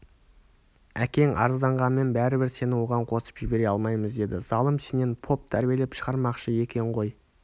әкең арызданғанмен бәрібір сені оған қосып жібере алмаймыз деді залым сенен поп тәрбиелеп шығармақшы екен ғой